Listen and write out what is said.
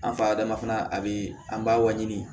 An fa dama fana a bi an b'a waɲini